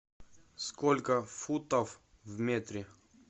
сколько футов в метре